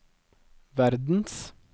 verdens